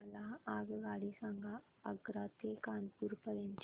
मला आगगाडी सांगा आग्रा ते कानपुर पर्यंत च्या